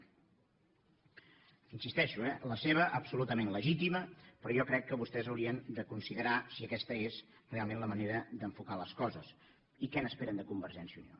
hi insisteixo la seva absolutament legítima però jo crec que vostès haurien de considerar si aquesta és realment la manera d’enfocar les coses i què n’esperen de convergència i unió